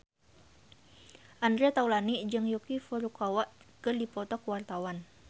Andre Taulany jeung Yuki Furukawa keur dipoto ku wartawan